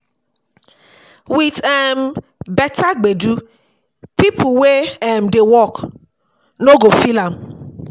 With um better gbedu, pipo wey um dey work no go feel am